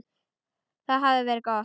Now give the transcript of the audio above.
Það hafði verið gott.